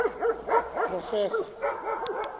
proffesor